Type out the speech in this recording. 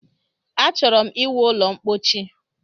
Achọrọ ịwu ụlọ ḿkpóchí